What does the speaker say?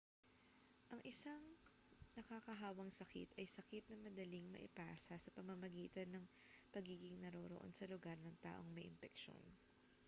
ang isang nakakahawang sakit ay sakit na madaling maipasa sa pamamagitan ng pagiging naroroon sa lugar ng taong may impeksyon